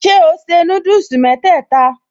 Ṣé o se núdùsì mẹ́tẹ̀ẹ̀ta?